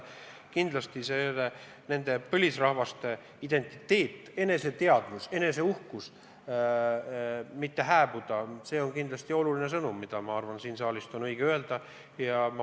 Kindlasti ei tohi nende põlisrahvaste identiteet, eneseteadvus, eneseuhkus hääbuda, see on väga oluline sõnum, mida ka siin saalis on õige kuulutada.